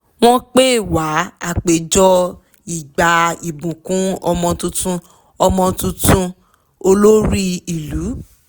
wọ́n pè wá àpéjọ ì gba ìbùkún ọmọ tuntun ọmọ tuntun olórí ìlú